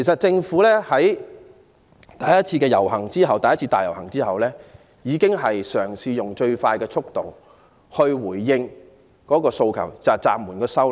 政府在第一次大遊行後，已嘗試用最快的速度回應暫緩修例的訴求。